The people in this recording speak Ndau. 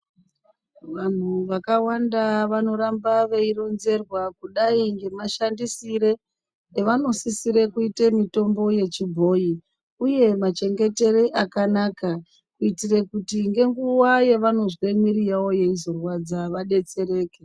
Vanhu vakawanda vanoramba vechironzerwa kudai ngemashandisrire evanosisire kuite mitombo yechibhoyi uye machengetere akanaka kuitire kuti ngenguwa yevanozwe mwiri yavo yeizorwadza vadetsereke.